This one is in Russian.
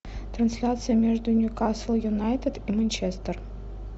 трансляция между ньюкасл юнайтед и манчестер